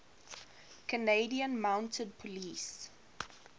canadian mounted police